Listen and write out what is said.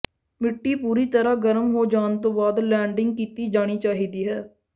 ਮਿੱਟੀ ਪੂਰੀ ਤਰ੍ਹਾਂ ਗਰਮ ਹੋ ਜਾਣ ਤੋਂ ਬਾਅਦ ਲੈਂਡਿੰਗ ਕੀਤੀ ਜਾਣੀ ਚਾਹੀਦੀ ਹੈ